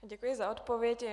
Děkuji za odpověď.